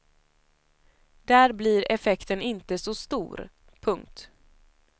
Där blir effekten inte så stor. punkt